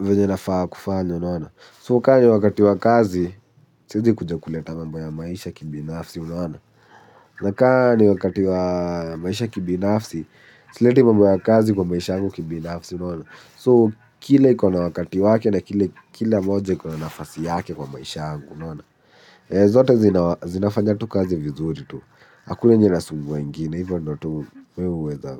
venye nafaa kufanya, unaona. So, kaa ni wakati wa kazi, siezi kuja kuleta mambo ya maisha kibinafsi, unaona. Nakaa ni wakati wa maisha kibinafsi. Sileti mambo ya kazi kwa maisha angu kibinafsi unaona So, kile ikona wakati wake. Na kile moja ikona nafasi yake kwa maisha angu. Zote zinafanya tu kazi vizuri tu. Hakuna yenye inasumbua ingine hivo ndo tu mie huweza.